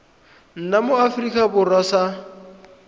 nna mo aforika borwa sa